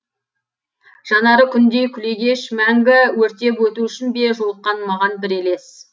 жанары күндей күлегеш мәңгі өртеп өту үшін бе жолыққан маған бір елес